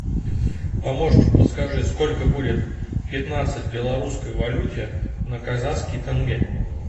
помощник подскажи сколько будет пятнадцать в белорусской валюте на казахский тенге